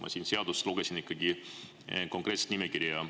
Ma siit lugesin ikkagi konkreetset nimekirja,